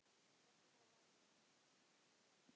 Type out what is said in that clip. Er ekki mál að linni?